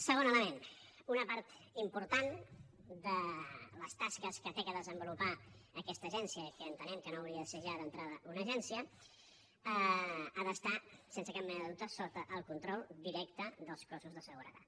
segon element una part important de les tasques que ha de desenvolupar aquesta agència que entenem que no hauria de ser ja d’entrada una agència ha d’estar sense cap mena de dubte sota el control directe dels cossos de seguretat